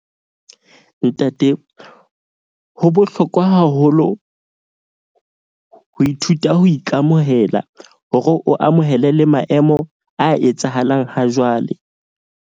Ntate ho bohlokwa haholo ho ithuta ho ikamohela, hore o amohele le maemo a etsahalang ha jwale.